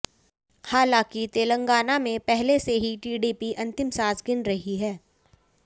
हालांकि तेलंगाना में पहले से ही टीडीपी अंतिम सांस गिन रही है